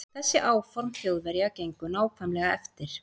Þessi áform Þjóðverja gengu nákvæmlega eftir.